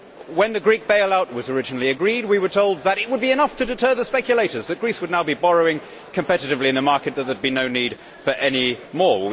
When the Greek bailout was originally agreed we were told that it would be enough to deter the speculators, that Greece would now be borrowing competitively in the market and that no more would be needed.